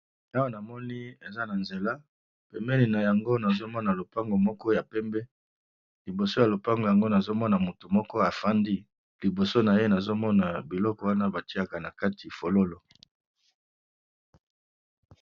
Awa namoni eza nanzela pembeni nayango nazomona lopango moko ya pembe liboso ya lopango nazomona mutu moko afandi liboso naye nazomona biloko moko batiyaka bafololo nakati